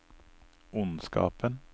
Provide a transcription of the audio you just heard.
ondskapen